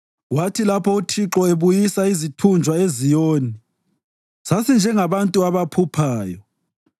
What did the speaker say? Kwathi lapho uThixo ebuyisa izithunjwa eZiyoni, sasinjengabantu abaphuphayo.